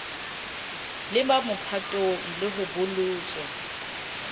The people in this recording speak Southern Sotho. leba mophatong le ho bolotswa